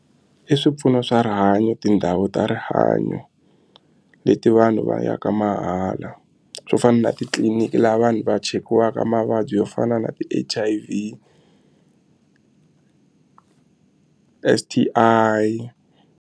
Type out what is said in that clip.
I swipfuno swa rihanyo tindhawu ta rihanyo leti vanhu va yaka mahala swo fana na titliliniki laha vanhu va cheriwaka mavabyi yo fana na ti-H_I_V S_T_I.